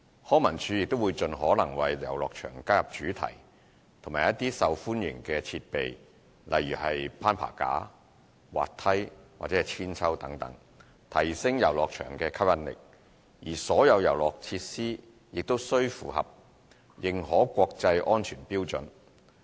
康文署亦會盡可能為遊樂場加入主題和一些受歡迎的設備如攀爬架、滑梯和鞦韆等，提升遊樂場的吸引力，而所有遊樂設施均需符合認可國際安全標準。